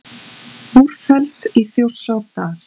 Búrfells í Þjórsárdal.